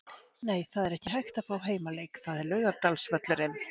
Nei, það er ekki hægt að fá heimaleik, það er Laugardalsvöllurinn.